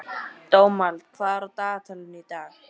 Dómald, hvað er á dagatalinu í dag?